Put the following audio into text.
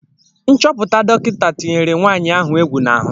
Nchọpụta dọkịta tinyere nwanyị ahụ egwu n'ahụ.